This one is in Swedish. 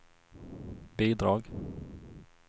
bidrag